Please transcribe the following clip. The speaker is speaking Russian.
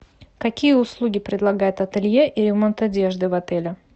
какие услуги предлагает ателье и ремонт одежды в отеле